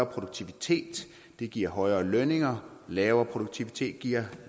produktivitet giver højere lønninger og lav produktivitet giver